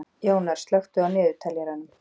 Jónar, slökktu á niðurteljaranum.